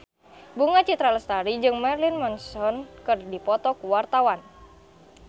Bunga Citra Lestari jeung Marilyn Manson keur dipoto ku wartawan